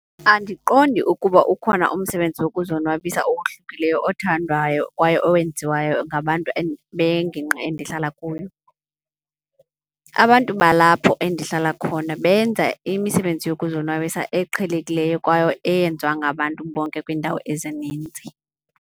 Andiqondi ukuba ukhona umsebenzi wokuzonwabisa owohlukileyo othandwayo kwaye owenziwayo ngabantu bengingqi endihlala kuyo. Abantu balapho endihlala khona benza imisebenzi yokuzonwabisa eqhelekileyo kwaye eyenziwa ngabantu bonke kwiindawo ezininzi.